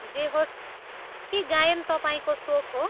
जे होस्, के गायन तपाईँको सोख हो?